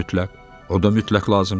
O da mütləq, o da mütləq lazımdır.